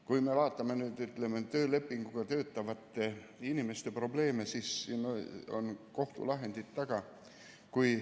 Kui me vaatame töölepinguga töötavate inimeste probleeme, siis siin on kohtulahendid taga.